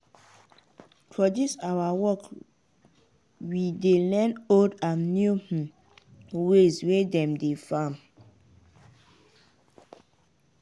dis awa job go show you many many kind of crops and how dem dey farm am.